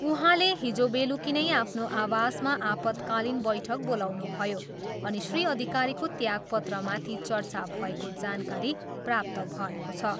उहाँले हिजो बेलुकी नै आफ्नो आवासमा आपतकालीन बैठक बोलाउनुभयो अनि श्री अधिकारीको त्यागपत्रमाथि चर्चा भएको जानकारी प्राप्त भएको छ।